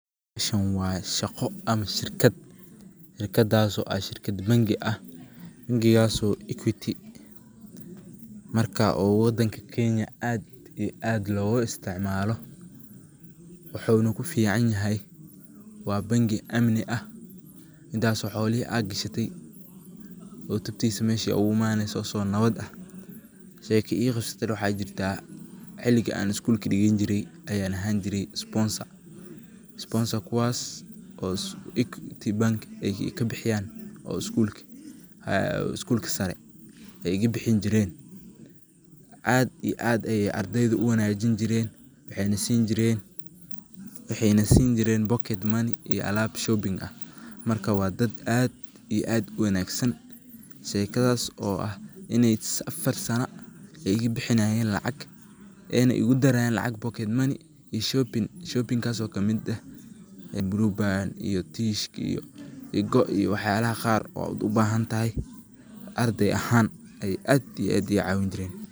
Taan waye shaqo ama shirkiid, shirkadaaso shirkid bank aah bangaaso equity markaa oo wadanka kenya aad iyo aad logo isticmalo. woxono kuficanihay waa bank amni aah midaaso xoolihi ad gashatay oo tabtiis mesha ogo imanayso asago nawad aah. Sheeko iga qabsatane waxay jirta xiligi aan school ka digini jire ayan ahaan jire sponsor kuwaas oo equity bank ay kabixiyaan oo school ka sare aay iqabixin jireen ada ee ad ay ardayda uwanjin jiren waxeyn siin jiren pocket money iyo alab shopping aah marka waa daad aad iyo aad uwangasan sheekadaso oo ah inay afar sana ay iga bixinayen lacaq ayne igudarayen lacag pocket money iyo shopping. shopping kaso kamid aah; blueband, tissue iyo goo. Wax yaalah qaar aad ubahantahy arday ahaan ay aad ii aad icawinjireen.